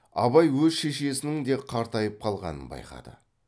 абай өз шешесінің де қартайып қалғанын байқады